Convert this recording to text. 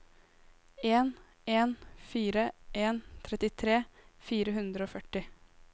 en en fire en trettitre fire hundre og førti